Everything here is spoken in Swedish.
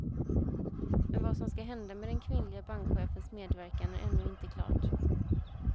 Men vad som ska hända med den kvinnliga bankchefens medverkan är ännu inte klart.